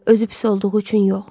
Özü pis olduğu üçün yox.